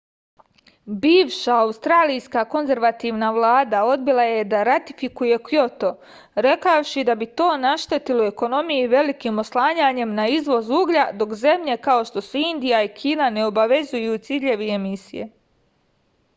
bivša australijska konzervativna vlada odbila je da ratifikuje kjoto rekavši da bi to naštetilo ekonomiji velikim oslanjanjem na izvoz uglja dok zemlje kao što su indija i kina ne obavezuju ciljevi emisije